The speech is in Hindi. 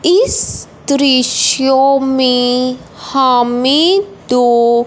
इस दृश्यों में हमें दो--